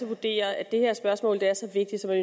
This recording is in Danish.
vurderer at det her spørgsmål er så vigtigt at